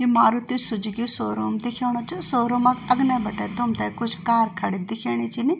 यु Maruti Suzuki showroom दिख्योंणु च शोरूमा क अग्ने बटे तुमथे कुछ कार खडी दिख्येणी छिनीं।